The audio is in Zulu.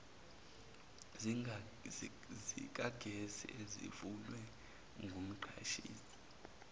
zikagesi ezivunywe ngumqashisi